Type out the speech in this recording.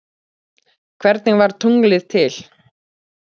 Hvernig varð tunglið til?